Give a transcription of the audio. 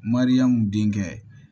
Mariyamu denkɛ